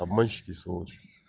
обманщики и сволочи